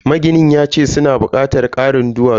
Maginin yace suna bukatar karin duwatsu.